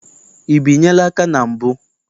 I binyela aka na mbụ?